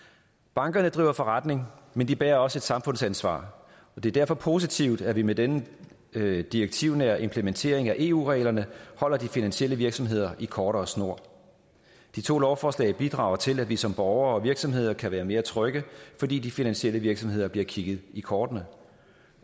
bankerne driver forretning men de bærer også et samfundsansvar og det er derfor positivt at vi med denne direktivnære implementering af eu reglerne holder de finansielle virksomheder i kortere snor de to lovforslag bidrager til at vi som borgere og virksomheder kan være mere trygge fordi de finansielle virksomheder bliver kigget i kortene